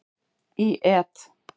Í et.